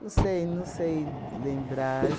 Não sei, não sei lembrar.